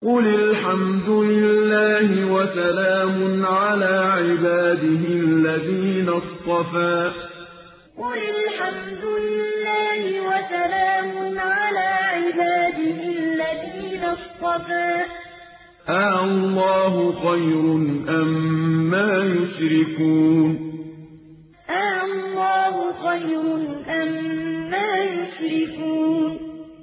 قُلِ الْحَمْدُ لِلَّهِ وَسَلَامٌ عَلَىٰ عِبَادِهِ الَّذِينَ اصْطَفَىٰ ۗ آللَّهُ خَيْرٌ أَمَّا يُشْرِكُونَ قُلِ الْحَمْدُ لِلَّهِ وَسَلَامٌ عَلَىٰ عِبَادِهِ الَّذِينَ اصْطَفَىٰ ۗ آللَّهُ خَيْرٌ أَمَّا يُشْرِكُونَ